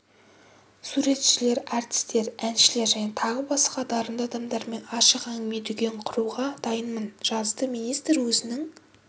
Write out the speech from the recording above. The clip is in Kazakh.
суретшілер әртістер әншілер және тағы басқа дарынды адамдармен ашық әңгіме-дүкен құруға дайынмын жазды министр өзінің